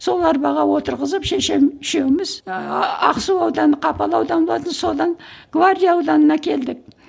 сол арбаға отырғызып шешем үшеуіміз ақсу ауданы қапал ауданы болатын содан гвардия ауданына келдік